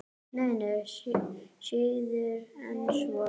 Nei, nei, síður en svo.